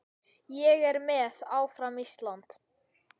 Ég er með, áfram Ísland.